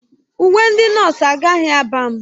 Uwe ndị nọọsụ agaghị aba m.